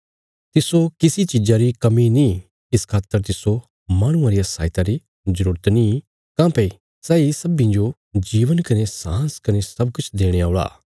तिस्सो किसी चिज़ां री कमी नीं इस खातर तिस्सो माहणुआं रिया सहायता री जरूरत नीं काँह्भई सैई सब्बीं जो जीवन कने सांस कने सब किछ देणे औल़ा